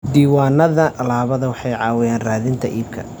Diiwaanada alaabadu waxay caawiyaan raadinta iibka.